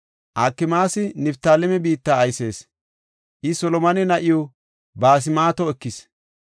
Akmaasi Niftaaleme biitta aysees; I Solomone na7iw Basmaato ekis.